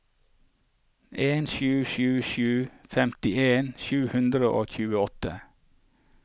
en sju sju sju femtien sju hundre og tjueåtte